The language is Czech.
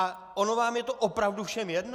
A ono je vám to opravdu všem jedno?